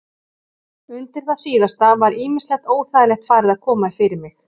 Undir það síðasta var ýmislegt óþægilegt farið að koma fyrir mig.